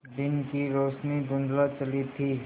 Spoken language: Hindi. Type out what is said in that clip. दिन की रोशनी धुँधला चली थी